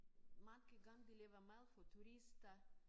Mange gange de laver mad for turister